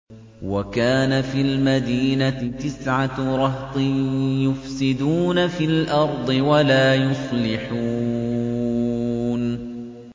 وَكَانَ فِي الْمَدِينَةِ تِسْعَةُ رَهْطٍ يُفْسِدُونَ فِي الْأَرْضِ وَلَا يُصْلِحُونَ